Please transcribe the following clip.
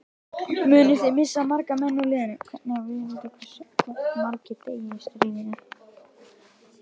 Munið þið missa marga menn úr liðinu?